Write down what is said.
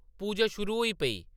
पूजा शुरू होई पेई।